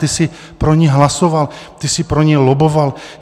Ty jsi pro ni hlasoval, ty jsi pro ni lobboval.